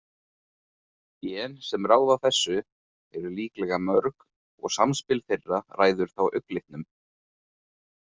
Gen sem ráða þessu eru líklega mörg og samspil þeirra ræður þá augnlitnum.